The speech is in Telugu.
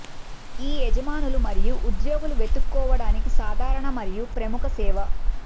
ఈ యజమానులు మరియు ఉద్యోగులు వెతుక్కోవడానికి సాధారణ మరియు ప్రముఖ సేవ